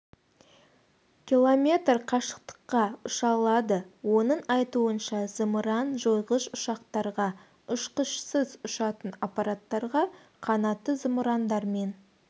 км қашықтыққа ұша алады оның айтуынша зымыран жойғыш ұшақтарға ұшқышсыз ұшатын аппараттарға қанатты зымырандар мен